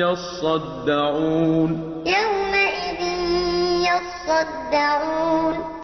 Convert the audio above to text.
يَصَّدَّعُونَ